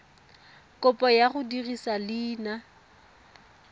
kopo ya go dirisa leina